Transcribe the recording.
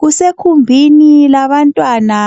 Kusegumbini labantwana